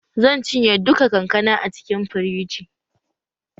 Zan cinye duka kankana a cikin firiji